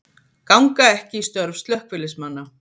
Ganga ekki í störf slökkviliðsmanna